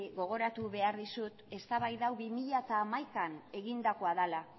gogoratu behar dizut eztabaida hau bi mila hamaikaan egindakoa dela